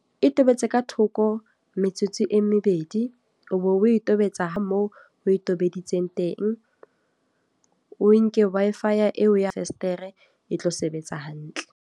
E tobetse ka thoko, metsotso e mebedi. O be o tobetsa ho moo o e tobeditse teng. O nke Wi-Fi eo ya fesetere e tlo sebetsa hantle.